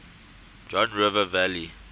john river valley